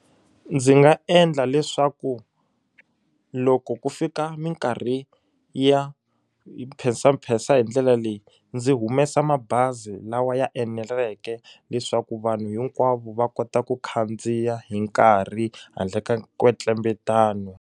Ndzi nga endla leswaku loko ku fika minkarhi ya mpensampensa hi ndlela leyi ndzi humesa mabazi lawa ya eneleke leswaku vanhu hinkwavo va kota ku khandziya hi nkarhi handle ka nkwetlembetano.